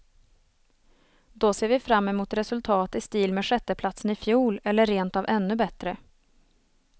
Då ser vi fram emot resultat i stil med sjätteplatsen i fjol, eller rent av ännu bättre.